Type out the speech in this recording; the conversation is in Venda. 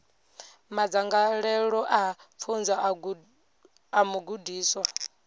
madzangalelo a pfunzo a mugudiswa